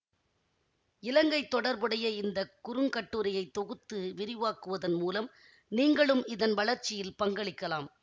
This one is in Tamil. இலங்கை தொடர்புடைய இந்த குறுங்கட்டுரையை தொகுத்து விரிவாக்குவதன் மூலம் நீங்களும் இதன் வளர்ச்சியில் பங்களிக்கலாம்